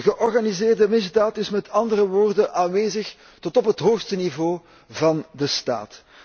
De georganiseerde misdaad is met andere woorden aanwezig tot op het hoogste niveau van de staat.